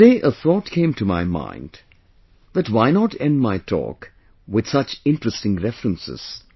Today a thought came to my mind that why not end my talk with such interesting references